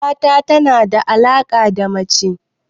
Mata tana da alaka da mace